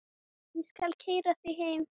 Ég skal keyra þig heim.